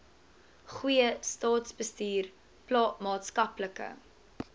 goeie staatsbestuur maatskaplike